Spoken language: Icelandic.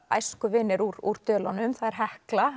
æskuvinir úr Dölunum Hekla